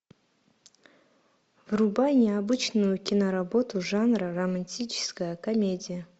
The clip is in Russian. врубай необычную киноработу жанра романтическая комедия